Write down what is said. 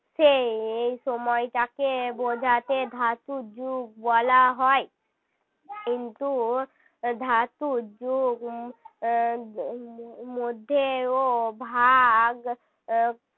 সেই এই সময়টাকে বোঝাতে ধাতু যুগ বলা হয় কিন্তু ধাতু যুগ আহ উম মধ্যেও ভাগ আহ